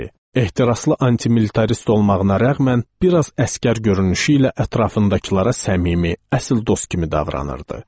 Ehtiraslı antimilitarist olmağına rəğmən, bir az əsgər görünüşü ilə ətrafındakılara səmimi, əsl dost kimi davranırdı.